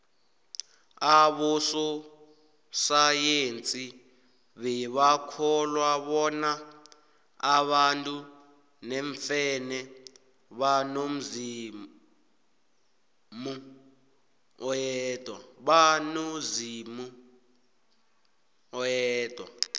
abososayensi bebakholwa bona abantu neemfene banomzimu oyedwa